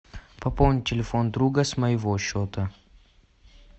пополнить телефон друга с моего счета